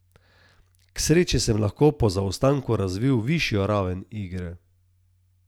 K sreči sem lahko po zaostanku razvil višjo raven igre.